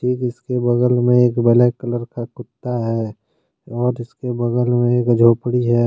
इसके बगल में एक ब्लैक कलर का कुत्ता है और उसके बगल में एक झोपड़ी है।